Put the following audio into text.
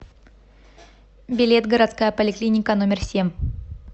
билет городская поликлиника номер семь